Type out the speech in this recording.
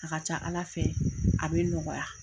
An ka ca Ala fɛ a bɛ nɔgɔya.